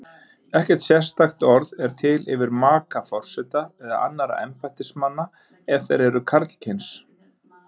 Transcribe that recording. Ekkert sérstakt orð er til yfir maka forseta eða annarra embættismanna ef þeir eru karlkyns.